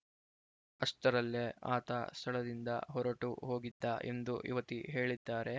ಅಷ್ಟರಲ್ಲೇ ಆತ ಸ್ಥಳದಿಂದ ಹೊರಟು ಹೋಗಿದ್ದ ಎಂದು ಯುವತಿ ಹೇಳಿದ್ದಾರೆ